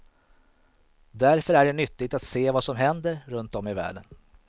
Därför är det nyttigt att se vad som händer runtom i världen.